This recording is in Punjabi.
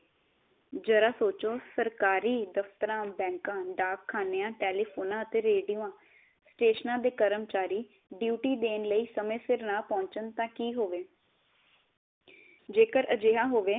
ਜ਼ਰਾ ਸੋਚੋ ਸਰਕਾਰੀ ਦਫਤਰਾਂ, ਬੈਂਕਾ, ਡਾਕਖਨਿਆ, ਟੇਲੀਫ਼ੋਨਾ ਅਤੇ ਰੇਡੀਓ ਸਟੇਸ਼ਨਾ ਦੇ ਕਰਮਚਾਰੀ ਡਿਓਤੀ ਦੇਣ ਲਈ ਸਮੇ ਸਿਰ ਨਾ ਪਹੁਚਣ ਤਾ ਕੀ ਹੋਵੇ। ਜੇਕਰ ਅਜਿਹਾ ਹੋਵੇ